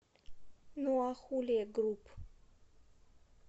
нуахуле груп